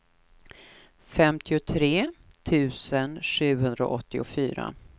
femtiotre tusen sjuhundraåttiofyra